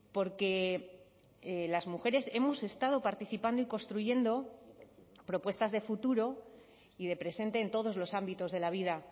porque las mujeres hemos estado participando y construyendo propuestas de futuro y de presente en todos los ámbitos de la vida